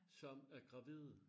Som er gravide